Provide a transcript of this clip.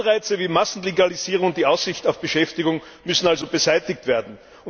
Anreize wie Massenlegalisierung und die Aussicht auf Beschäftigung müssen also beseitigt werden.